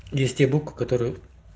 здесь те буквы которые